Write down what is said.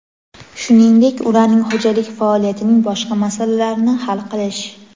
shuningdek ularning xo‘jalik faoliyatining boshqa masalalarini hal qilish;.